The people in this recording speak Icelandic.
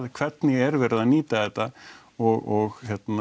hvernig er verið að nýta þetta og